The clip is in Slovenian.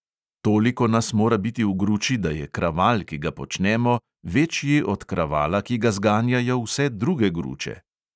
Toliko nas mora biti v gruči, da je kraval, ki ga počnemo, večji od kravala, ki ga zganjajo vse druge gruče.